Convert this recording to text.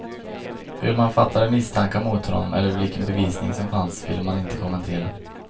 Hur man fattade misstankar mot honom eller vilken bevisning som finns vill man inte kommentera.